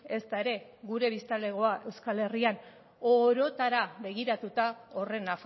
ezta ere gure biztanlegoa euskal herrian orotara begiratuta horren